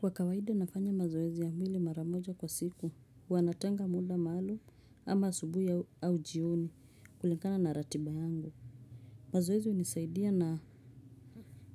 Kwa kawaidi nafanya mazoezi ya mwili mara moja kwa siku, huwa natenga muda maalum ama asubui au jioni kulinkana na ratiba yangu. Mazoezi unisaidia na